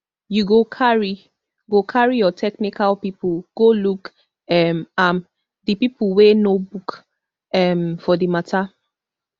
you go carry go carry your technical pipo go look um am di pipo wey know book um for di mata